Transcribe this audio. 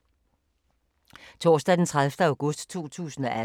Torsdag d. 30. august 2018